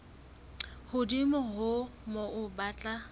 hodimo ho moo ba tla